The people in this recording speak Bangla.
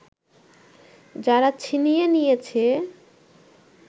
যারা ছিনিয়ে নিয়েছে